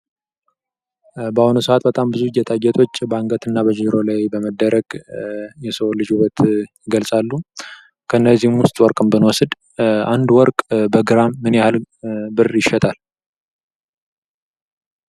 በአሁኑ ሰዓት ብዙ ጌጣጌጦች በአንገት እና በጆሮ ላይ በመደረግ የሰው ልጅን ውበት ይገልፃሉ። ከነዚህም ውስጥ ወርቅን ብንወስድ አንድ ወርቅ በግራም ምን ያህል ብር ይሸጣል?